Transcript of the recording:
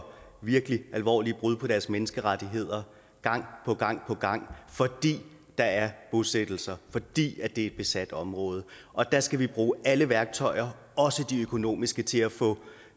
for virkelig alvorlige brud på deres menneskerettigheder gang på gang gang fordi der er bosættelser fordi det er et besat område og der skal vi bruge alle værktøjer også de økonomiske til at få